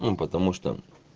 он потому что